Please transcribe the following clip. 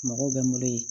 Mɔgɔw bɛ n bolo yen